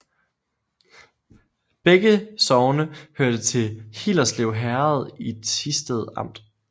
Begge sogne hørte til Hillerslev Herred i Thisted Amt